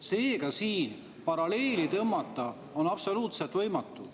Seega siin paralleeli tõmmata on absoluutselt võimatu.